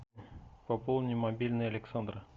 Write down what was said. пополни мобильный александра